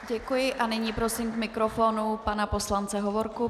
Děkuji a nyní prosím k mikrofonu pana poslance Hovorku.